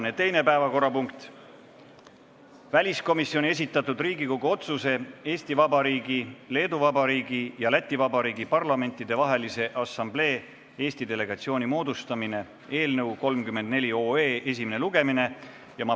Tänane teine päevakorrapunkt: väliskomisjoni esitatud Riigikogu otsuse "Eesti Vabariigi, Leedu Vabariigi ja Läti Vabariigi Parlamentidevahelise Assamblee Eesti delegatsiooni moodustamine" eelnõu 34 esimene lugemine.